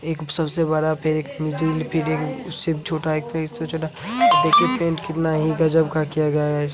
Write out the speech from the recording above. एक सबसे बड़ा फिर एक मिडिल फिर एक उससे भी छोटा एक था उससे भी छोटा। देखिए पैंट कितना ही गज़ब का किया गया है।